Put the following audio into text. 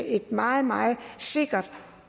et meget meget sikkert